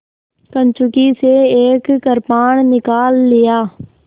कंचुकी से एक कृपाण निकाल लिया